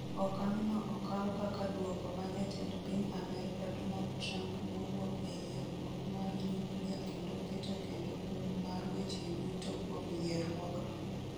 Okang' no okaw kaka duoko ma Jatend piny Amerka Donald Trump nowuok e yierruok mar nyuklia kendo keto kendo kum mar weche yuto kuom yierruokno.